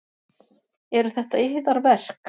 Eru þetta yðar verk?